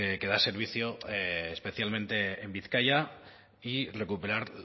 que da servicio especialmente en bizkaia y recuperar